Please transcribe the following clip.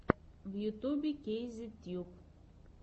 в ютьюбе кейзет тьюб